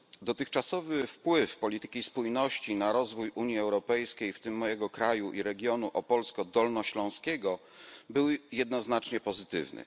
Dotychczasowy wpływ polityki spójności na rozwój Unii Europejskiej, w tym mojego kraju i regionu opolsko dolnośląskiego, był jednoznacznie pozytywny.